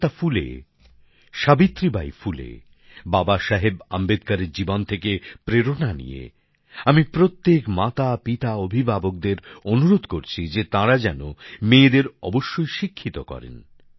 মহাত্মা ফুলে সাবিত্রী বাই ফুলে বাবা সাহেব আম্বেদকরের জীবন থেকে প্রেরণা নিয়ে আমি প্রত্যেক মাবাবা অভিভাবকদের অনুরোধ করছি যে তাঁরা যেন মেয়েদের অবশ্যই শিক্ষিত করেন